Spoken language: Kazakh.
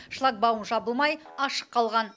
шлагбаум жабылмай ашық қалған